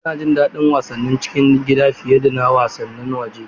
Ina jin daɗin wasannin cikin gida fiye da wasannin waje.